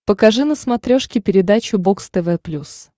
покажи на смотрешке передачу бокс тв плюс